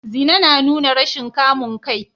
Zina na nuna rashin kamun kai